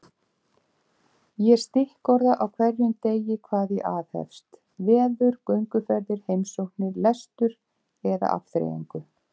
Ég stikkorða á hverjum degi hvað ég aðhefst: veður, gönguferðir, heimsóknir, lestur eða afþreyingu.